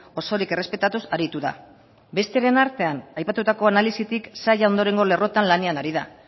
osorik errespetatuz aritu da besteren artean aipatutako analisitik saila ondorengo lerroetan lanean ari da